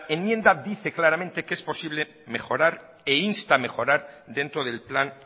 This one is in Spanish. enmienda dice claramente que es posible mejorar e insta mejorar dentro del plan